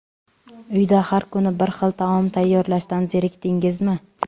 Uyda har kuni bir xil taom tayyorlashdan zerikdingizmi?